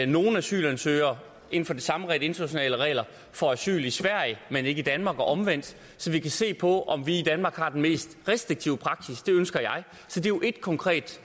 nogle asylansøgere inden for de samme internationale regler får asyl i sverige men ikke i danmark og omvendt så vi kan se på om vi i danmark har den mest restriktive praksis det ønsker jeg så det er jo et konkret